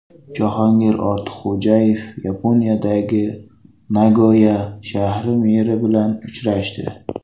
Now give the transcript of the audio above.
Jahongir Ortiqxo‘jayev Yaponiyada Nagoya shahri meri bilan uchrashdi.